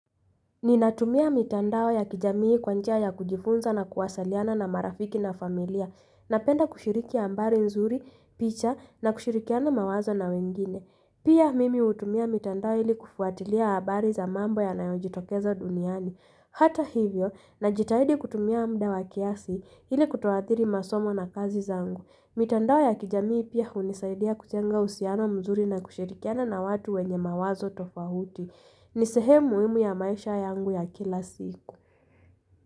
Ninatumia mitandao ya kijamii kwa njia ya kujifunza na kuwasaliana na marafiki na familia, napenda kushiriki ambari nzuri, picha na kushirikiana mawazo na wengine. Pia mimi hutumia mitandao hili kufuatilia habari za mambo yanayo jitokeza duniani. Hata hivyo, najitahidi kutumia mda wa kiasi hili kutoathiri masomo na kazi zangu. Mitandao ya kijamii pia hunisaidia kuchenga usiano mzuri na kushirikiana na watu wenye mawazo tofahuti. Ni sehem muimu ya maisha yangu ya kila siku.